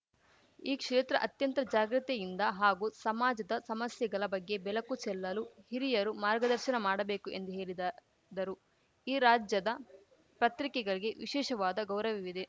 ಈ ಕ್ಷೇತ್ರ ಅತ್ಯಂತ ಜಾಗೃತಿಯಿಂದ ಹಾಗೂ ಸಮಾಜದ ಸಮಸ್ಯೆಗಳ ಬಗ್ಗೆ ಬೆಲಕು ಚೆಲ್ಲಲು ಹಿರಿಯರು ಮಾರ್ಗದರ್ಶನ ಮಾಡಬೇಕು ಎಂದು ಹೇಲಿದ ದರು ಈ ರಾಜ್ಯದ ಪತ್ರಿಕೆಗಳಿಗೆ ವಿಶೇಷವಾದ ಗೌರವವಿದೆ